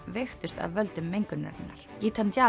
veiktust af völdum mengunarinnar